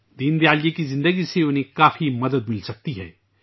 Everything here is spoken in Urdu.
دین دیال جی کی زندگی سے انہیں کافی مدد مل سکتی ہے